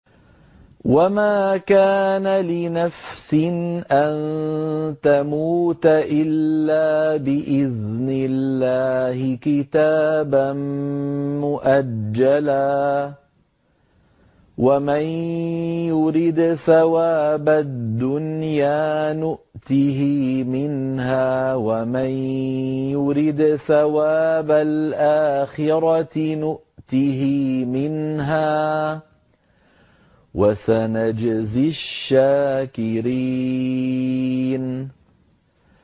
وَمَا كَانَ لِنَفْسٍ أَن تَمُوتَ إِلَّا بِإِذْنِ اللَّهِ كِتَابًا مُّؤَجَّلًا ۗ وَمَن يُرِدْ ثَوَابَ الدُّنْيَا نُؤْتِهِ مِنْهَا وَمَن يُرِدْ ثَوَابَ الْآخِرَةِ نُؤْتِهِ مِنْهَا ۚ وَسَنَجْزِي الشَّاكِرِينَ